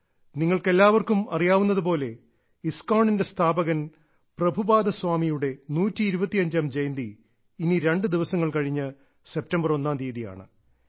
നിങ്ങൾക്ക് എല്ലാവർക്കും അറിയാവുന്നതുപോലെ ഇസ്ക്കോൺ ന്റെ സ്ഥാപകൻ പ്രഭുപാദ സ്വാമിയുടെ 125ാം ജയന്തി ഇനി രണ്ടു ദിവസങ്ങൾ കഴിഞ്ഞ് സെപ്റ്റംബർ ഒന്നാം തീയതിയാണ്